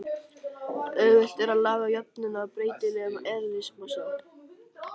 Auðvelt er að laga jöfnuna að breytilegum eðlismassa.